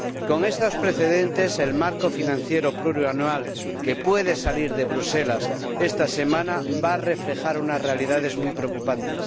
Con estos precedentes, el marco financiero plurianual que puede salir de Bruselas esta semana va a reflejar unas realidades muy preocupantes.